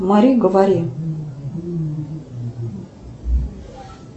мари говори